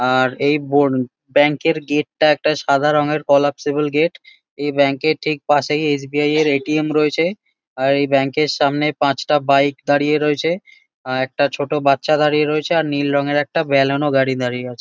আর এই বন ব্যাঙ্ক -এর গেট -টা একটা সাদা রঙের কলাপসিবল গেট । এই ব্যাঙ্ক -এর ঠিক পাশেই এস.বি.আই. -এর এ.টি.এম. রয়েছে। আর এই ব্যাঙ্ক -এর সামনে পাঁচটা বাইক দাঁড়িয়ে রয়েছে। আ একটা ছোট বাচ্চা দাঁড়িয়ে রয়েছে। আর নীল রঙের একটা বেলানো গাড়ি দাঁড়িয়ে আছে।